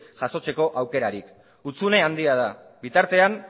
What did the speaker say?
jasotzeko aukerarik hutsune handia da bitartean